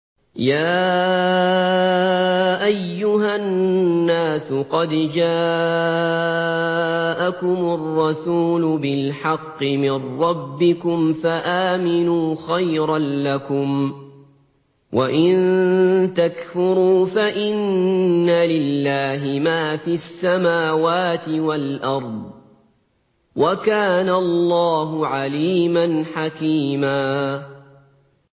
يَا أَيُّهَا النَّاسُ قَدْ جَاءَكُمُ الرَّسُولُ بِالْحَقِّ مِن رَّبِّكُمْ فَآمِنُوا خَيْرًا لَّكُمْ ۚ وَإِن تَكْفُرُوا فَإِنَّ لِلَّهِ مَا فِي السَّمَاوَاتِ وَالْأَرْضِ ۚ وَكَانَ اللَّهُ عَلِيمًا حَكِيمًا